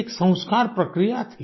एक संस्कार प्रक्रिया थी